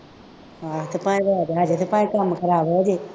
ਅਤੇ ਭਾਈ ਰੋਕ ਲਾ ਕਿਤੇ ਭਾਈ ਕੰਮ ਖਰਾਬ ਹੋ ਜਾਏ